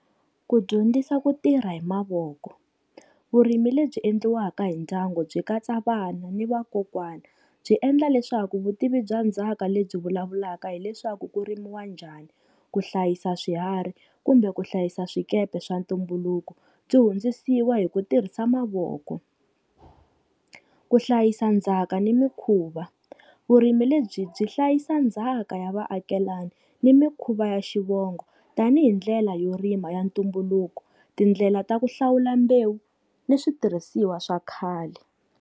Ku dyondzisa ku tirha hi mavoko, vurimi lebyi endliwaka hi ndyangu byi katsa vana ni vakokwana, byi endla leswaku vutivi bya ndzhaka lebyi vulavulaka hileswaku kurimiwa njhani, ku hlayisa swiharhi kumbe ku hlayisa swikepe swa ntumbuluko, byi hundzisiwa hi ku tirhisa mavoko. Ku hlayisa ndzhaka ni mikhuva, vurimi lebyi byi hlayisa ndzhaka ya vaakelani ni mikhuva ya xivongo tanihi ndlela yo rima ya ntumbuluko tindlela ta ku hlawula mbewu ni switirhisiwa swa khale.